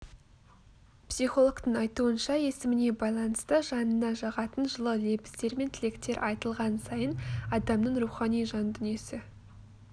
психологтың айтуынша есіміне байланысты жанына жағатын жылы лебіздер мен тілектер айтылған сайын адамның рухани жан дүниесі